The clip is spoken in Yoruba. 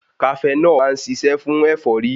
Kafenọ́ọ̀ má ń ṣiṣẹ́ fún ẹ̀fọ́rí.